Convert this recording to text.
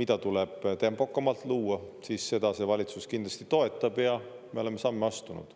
mida tuleb tempokamalt luua, siis seda see valitsus kindlasti toetab ja me oleme samme astunud.